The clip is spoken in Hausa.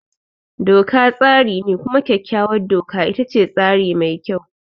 Doka tsari ne, kuma kyakkyawar doka ita ce tsari mai kyau.